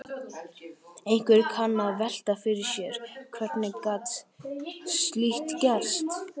Einhver kann að velta fyrir sér: Hvernig gat slíkt gerst?